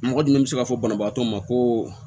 Mɔgɔ dun bɛ se ka fɔ banabaatɔ ma ko